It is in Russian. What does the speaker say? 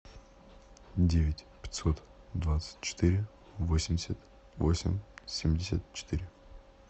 девять пятьсот двадцать четыре восемьдесят восемь семьдесят четыре